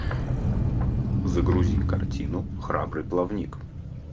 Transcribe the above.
загрузи картину храбрый плавник